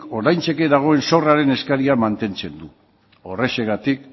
ordaintzeke dagoen zorraren eskaera mantentzen du horrexegatik